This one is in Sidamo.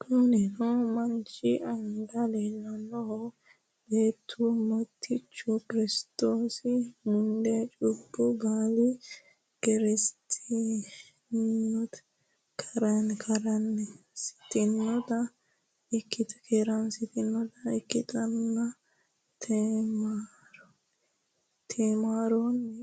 kunoni manchi anga lelanohu beetu motichu kiristosi mude chubu baluyi kerenisitanota ikitana temaroni